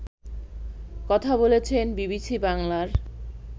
কথা বলেছেন বিবিসি বাংলার